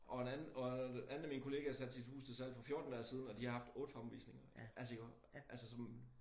Og en anden og en anden af mine kollegaer satte sit hus til salg for 14 dage siden og de har haft 8 fremvisninger altså jo altså som